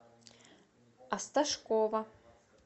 осташкова